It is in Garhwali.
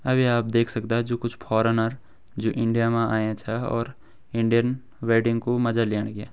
अभी आप देख सकदा जु कुछ फॉर्नर जु इंडिया मां आया छं और इंडियन वेडिंग कु मजा लेणके।